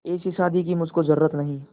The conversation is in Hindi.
ऐसी शादी की मुझको जरूरत नहीं